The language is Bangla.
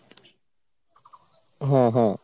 হ্যাঁ হ্যাঁ।